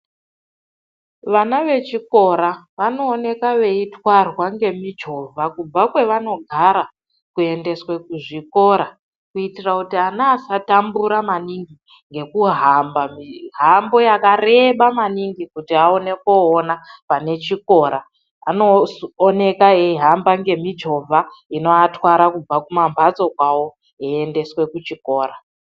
Vana vechikora vanoonekwa veitwarwa ngemichovha kubva kwevanogara kuendeswe kuzvikora, kuitira kuti ana asatambura maningi ngekuhamba mihambo yakareba maningi kuti aone koona panechikora. Anooneka eihamba ngemichovha inoatwara kubva kumamhatso kwavo veiendeswe kuchikora.